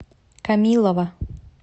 камилова